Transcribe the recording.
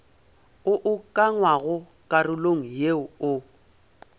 o ukangwago karolong yeo o